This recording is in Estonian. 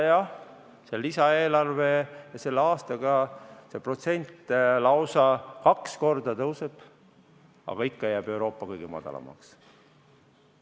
Jah, selle lisaeelarvega ja selle aastaga see protsent tõuseb lausa kaks korda, aga ikka jääb Euroopa kõige madalamaks.